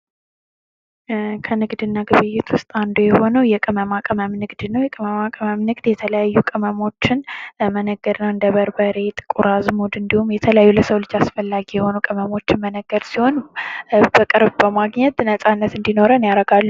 ከንግድና ግብይት ውስጥ አንዱ የሆነው የቅመማ ቅመም ንግድ ነው። የቅመማ ቅመም ንግድ የተለያዩ ቅመሞችን ነገር እንደ በርበሬ፣ ጥቁር አዝሙድ እንዲሁም የተለያዩ ለሰው ልጅ አስፈላጊ የሆኑ ቅመሞች መነገድ ሲሆን ፤በቅርቡ በማግኘት ነፃነት እንዲኖረን ያደርጋል።